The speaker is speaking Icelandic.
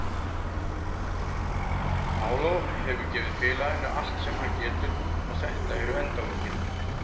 Paulo hefur gefið félaginu allt sem hann getur og þetta eru endalokin.